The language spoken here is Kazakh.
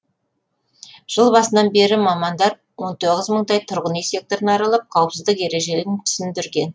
жыл басынан бері мамандар он тоғыз мыңдай тұрғын үй секторын аралап қауіпсіздік ережелерін түсіндерген